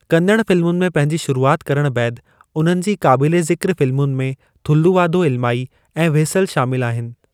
कन्नड़ फिल्मुनि में पंहिंजी शुरुआत करणु बैदि, उन्हनि जी क़ाबिलु ज़िक्र फ़िल्मुनि में थुल्लुवाधो इलमाई ऐं व्हिसल शामिलु आहिनि।